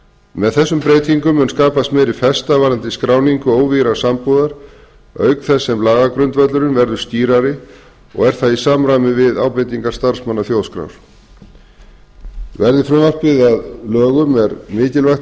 með þessum breytingum mun skapast m ári festa varðandi skráningu óvígðrar sambúðar auk þess sem lagagrundvöllurinn verður skýrari og er það í samræmi við ábendingar starfsmanna þjóðskrár verði frumvarpið að lögum er mikilvægt